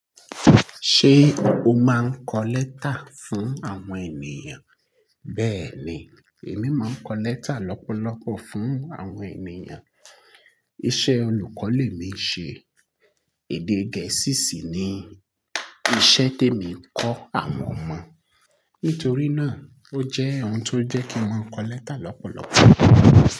Ṣé o máa ń kọ lẹ́tà fún àwọn ènìyàn? Bẹ́ẹ̀ni, èmi máa ń kọ lẹ́tà lọ́pọ̀lọpọ̀ fún àwọn ènìyàn. Iṣẹ́ olùkọ́ lè mi ṣe. Èdè Gẹ̀ẹ́sì sì ni ìṣe tí èmi ń kọ àwọn ọmọ. Nítorí náà, ó jẹ́ ohun tó jẹ́ kí wọ́n kọ lẹ́tà lọ́pọ̀lọpọ̀